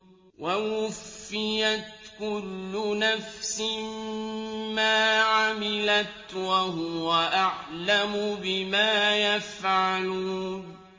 وَوُفِّيَتْ كُلُّ نَفْسٍ مَّا عَمِلَتْ وَهُوَ أَعْلَمُ بِمَا يَفْعَلُونَ